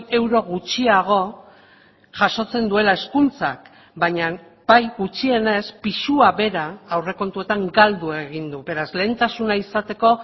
euro gutxiago jasotzen duela hezkuntzak baina bai gutxienez pisua bera aurrekontuetan galdu egin du beraz lehentasuna izateko